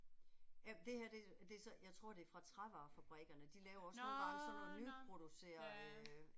Ja men det her, det det så jeg tror det er fra trævarefabrikkerne, de laver også nogle sådan nogle nyproducerede